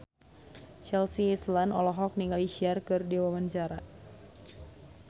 Chelsea Islan olohok ningali Cher keur diwawancara